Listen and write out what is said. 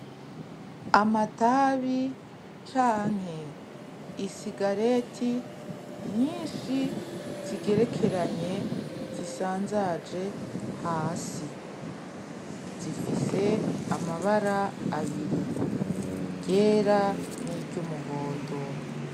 Amatabi canke isigareti nyishi zigerekeranye zisanzaje hasi zifise amabara abiri iryera ni ry'umuhondo.